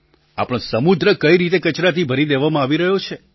આપણો સમુદ્ર કઈ રીતે કચરાથી ભરી દેવામાં આવી રહ્યો છે